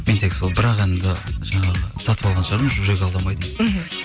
мен тек сол бір ақ әнді жаңағы сатып алған шығармын жүрек алдамайды мхм